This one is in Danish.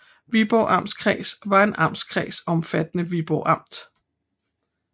Viborg Amtskreds var en amtskreds omfattende Viborg Amt